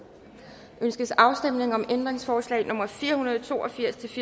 ønskes afstemning om ændringsforslag nummer fire hundrede og to og firs